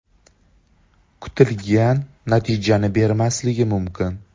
kutilgan natijani bermasligi mumkin.